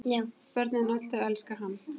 Börnin öll þau elska hann.